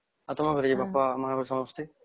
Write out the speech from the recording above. ଆଉ ତମ ଘରେ ଯେ ବାପା ମା ସମସ୍ତେ